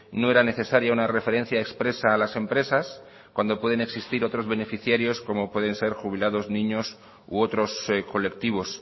no era necesaria una referencia expresa a las empresas cuando pueden existir otros beneficiarios como pueden ser jubilados niños u otros colectivos